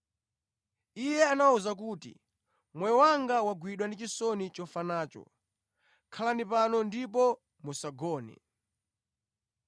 Iye anawawuza kuti, “Moyo wanga wagwidwa ndi chisoni chofa nacho. Khalani pano ndipo musagone.”